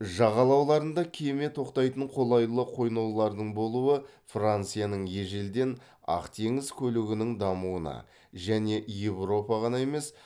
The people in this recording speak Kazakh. жағалауларында кеме тоқтайтын қолайлы қойнаулардың болуы францияның ежелден ақ теңіз көлігінің дамуына және еуропа ғана емес